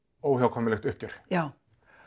óhjákvæmilegt uppgjör já